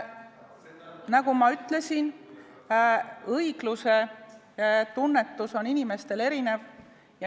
Nagu ma ütlesin, õiglusetunnetus on inimestel erinev.